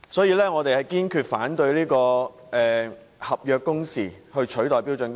因此，我們堅決反對以合約工時取代標準工時。